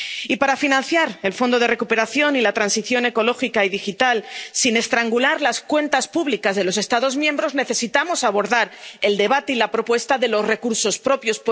Y para financiar el fondo de recuperación y la transición ecológica y digital, sin estrangular las cuentas públicas de los Estados miembros, necesitamos abordar el debate y la propuesta de los recursos propios.